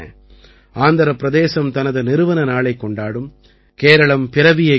ஆந்திர பிரதேசம் தனது நிறுவன நாளைக் கொண்டாடும் கேரளம் பிராவியைக் கொண்டாடும்